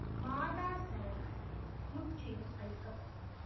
மாதா சரங் முற்றிலும் அழிக்கப்பட்டது